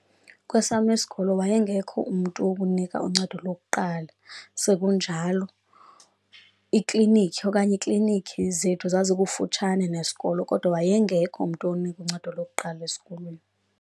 Kwesam isikolo wayengekho umntu wokunika uncedo lokuqala. Sekunjalo iklinikhi okanye iiklinikhi zethu zazikufutshane nesikolo, kodwa wayengekho mntu onika uncedo lokuqala esikolweni.